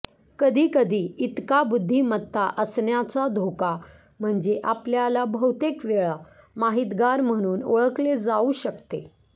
कधीकधी इतका बुद्धिमत्ता असण्याचा धोका म्हणजे आपल्याला बहुतेक वेळा माहितगार म्हणून ओळखले जाऊ शकते